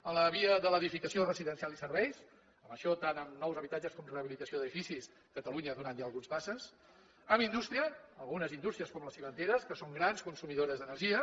en la via de l’edificació residencial i serveis en això tant en nous habitatges com en rehabilitació d’edificis catalunya ha donat ja algunes passes en indústria algunes indústries com les cimenteres que són grans consumidores d’energia